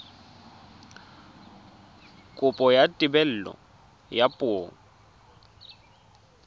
kopo ya thebolo ya poo